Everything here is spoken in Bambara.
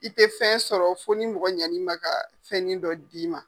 I tɛ fɛn sɔrɔ fo ni mɔgɔ ɲani ma ka fɛnin dɔ d'i ma.